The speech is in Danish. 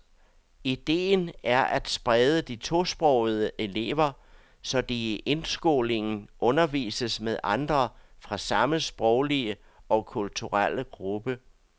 Idéen er at sprede de tosprogede elever, så de i indskolingen undervises med andre fra samme sproglige og kulturelle gruppe.